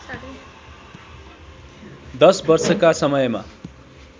१० वर्षका समयमा